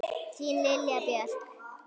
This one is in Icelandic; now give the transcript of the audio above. Þín Lilja Björk.